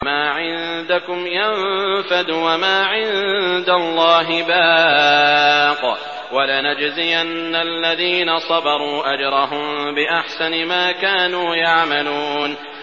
مَا عِندَكُمْ يَنفَدُ ۖ وَمَا عِندَ اللَّهِ بَاقٍ ۗ وَلَنَجْزِيَنَّ الَّذِينَ صَبَرُوا أَجْرَهُم بِأَحْسَنِ مَا كَانُوا يَعْمَلُونَ